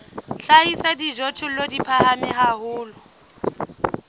hlahisa dijothollo di phahame haholo